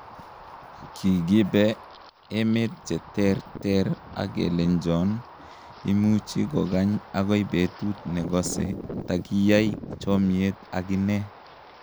Kigiibe emet cheter ter ak kilenjon imuchi kogany agoi betut nogosee tangiyaai chomiet ak inee.